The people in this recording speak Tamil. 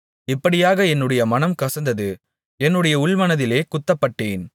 இப்படியாக என்னுடைய மனம் கசந்தது என்னுடைய உள்மனதிலே குத்தப்பட்டேன்